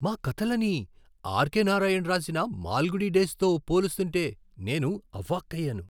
మా కథలని R. K. Narayan రాసిన మాల్గుడి డేస్తో పోలుస్తుంటే నేను అవాక్కయ్యాను !